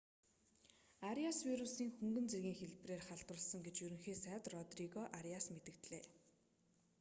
ариас вирусийн хөнгөн зэргийн хэлбэрээр халдварласан гэж ерөнхий сайд родриго ариас мэдэгдлээ